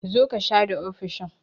Zo ka share ofishin!